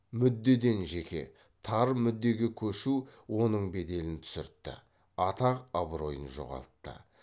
мүддеден жеке тар мүддеге көшу оның беделін түсіртті атақ абыройын жоғалтты